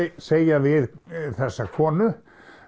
segja við þessa konu